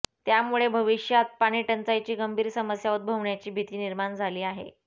त्यामुळे भविष्यात पाणीटंचाईची गंभीर समस्या उद्भवण्याची भीती निर्माण झाली आहे